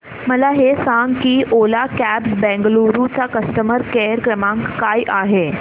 मला हे सांग की ओला कॅब्स बंगळुरू चा कस्टमर केअर क्रमांक काय आहे